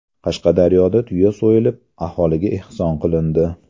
Qashqadaryoda tuya so‘yilib, aholiga ehson qilindi.